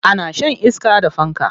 Ana shan iska da fanka.